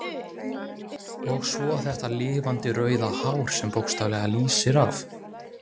Og svo þetta lifandi rauða hár sem bókstaflega lýsir af.